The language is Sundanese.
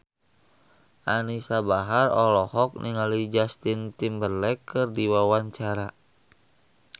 Anisa Bahar olohok ningali Justin Timberlake keur diwawancara